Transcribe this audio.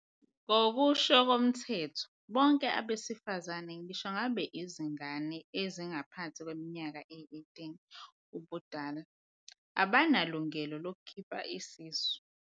Ngokusho koMthetho, bonke abesifazane, ngisho ngabe yizingane ezingaphansi kweminyaka eyi-18 ubudala, banelungelo lokukhipha isisu.